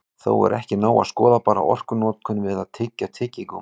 Þó er ekki nóg að skoða bara orkunotkun við að tyggja tyggigúmmí.